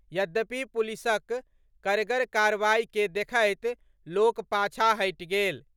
यद्यपि पुलिसक कड़गर कार्रवाई के देखैत लोक पाछा हटि गेल।